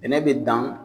Bɛnɛ bɛ dan